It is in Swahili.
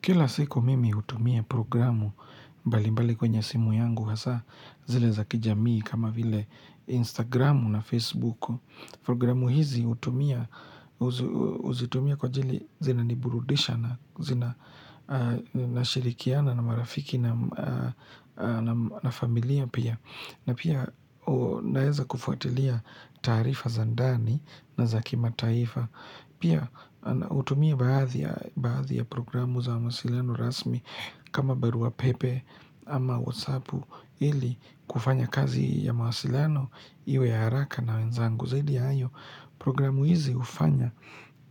Kila siko mimi utumia programu mbali mbali kwenye simu yangu hasa zile za kijamii kama vile Instagramu na Facebooku. Programu hizi utumia, uzitumia kwa ajili zinaniburudisha na zina nashirikiana na marafiki na familia pia. Na pia naeza kufuatilia tarifa za andani na za kimataifa. Pia utumia baadhi ya programu za mawasiliano rasmi kama baruwa pepe ama whatsappu ili kufanya kazi ya mawasiliano iwe ya haraka na wenzangu. Zaidi ayo programu hizi ufanya